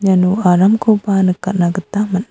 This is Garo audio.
iano aramkoba nikatna gita man·a. --